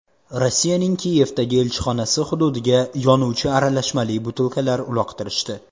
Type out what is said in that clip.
Rossiyaning Kiyevdagi elchixonasi hududiga yonuvchi aralashmali butilkalar uloqtirishdi.